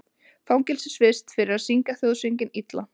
Fangelsisvist fyrir að syngja þjóðsönginn illa